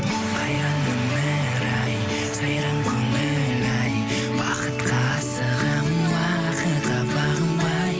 қайран өмір ай сайран көңіл ай бақытқа асығамын уақытқа бағынбай